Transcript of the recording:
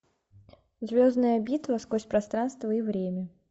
звездная битва сквозь пространство и время